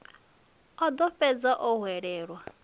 o ḓo fhedza o hwelelwa